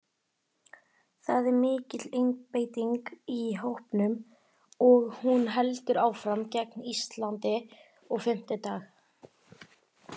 Það er mikil einbeiting í hópnum og hún heldur áfram gegn Íslandi á fimmtudag.